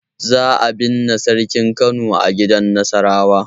Za'a binne sarkin Kano a gidan Nasarawa.